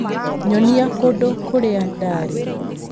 Nyonia kũndũ kũrĩa ndaarĩ